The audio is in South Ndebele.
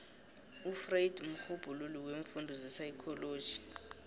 ufreud mrhubhululi weemfundo zepsychology